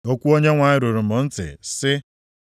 Okwu Onyenwe anyị ruru m ntị, sị,